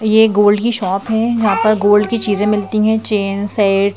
ये गोल्ड की शॉप है जहां पर गोल्ड की चीजें मिलती हैं चेन सैट --